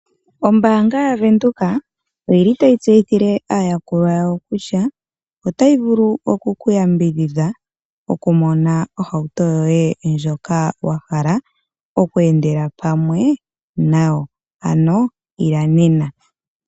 Ombaanga yaVenduka oyili tayi tseyithile aayakulwa yayo kutya otayi vulu okuku yambidhidha okumona ohauto yeye ndjoka wahala oku endela pamwe nayo, ano Ila nena.